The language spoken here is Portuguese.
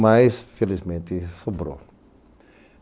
Mas, felizmente, sobrou.